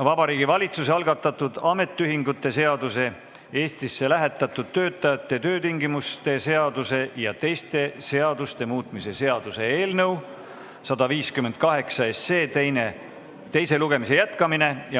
on Vabariigi Valitsuse algatatud ametiühingute seaduse, Eestisse lähetatud töötajate töötingimuste seaduse ja teiste seaduste muutmise seaduse eelnõu 158 teise lugemise jätkamine.